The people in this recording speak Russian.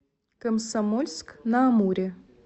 комсомольск на амуре